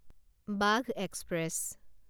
বাঘ এক্সপ্ৰেছ